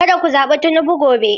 Kada ku zaɓi Tinubu gobe.